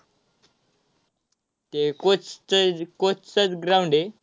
ते coach चंच~ coach चंच ground आहे.